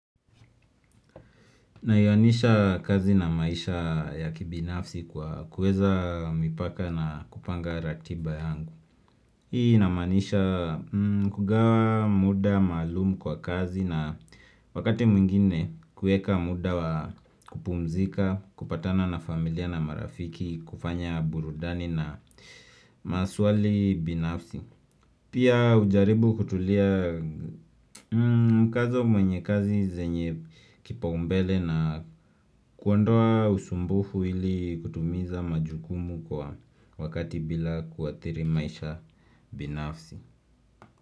Nayuanisha kazi na maisha ya kibinafsi kwa kuweza mipaka na kupanga ratiba yangu. Hii inamaanisha kugawa muda maalum kwa kazi na wakati mwingine kuweka muda wa kupumzika, kupatana na familia na marafiki, kufanya burudani na maswali binafsi. Pia hujaribu kutulia mkazo mwenye kazi zenye kipa umbele na. Kuondoa usumbufu ili kutimiza majukumu kwa wakati bila kuathiri maisha binafsi.